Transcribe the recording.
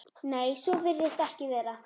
Nei, svo virðist ekki vera.